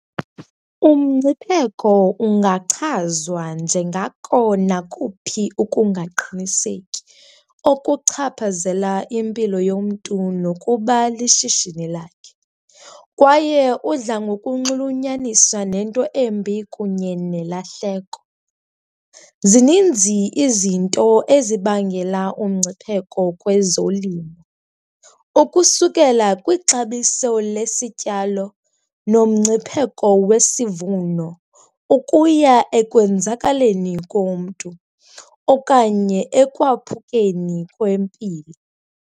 Umngcipheko ungachazwa njengako nakuphi ukungaqiniseki okuchaphazela impilo yomntu nokuba lishishini lakhe kwaye udla ngokunxulunyaniswa nento embi kunye nelahleko. Zininzi izinto ezibangela umngcipheko kwezolimo ukusukela kwixabiso lesityalo nomngcipheko wesivuno ukuya ekwenzakaleni komntu okanye ekwaphukeni kwempilo.